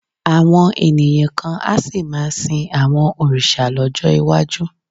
Àwọn ènìyàn kan á sì máa sin àwọn òrìṣà lọ́jọ́ iwájú